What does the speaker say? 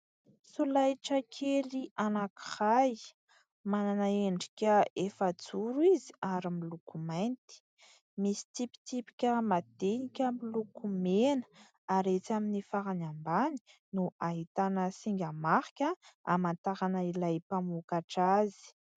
Solaitra kely anankiray manana endrika efa-joro izy ary miloko mainty, misy tsipitsipika madinika miloko mena ary etsy amin'ny farany ambany no ahitana singa marika hamantarana ilay mpamokatra azy.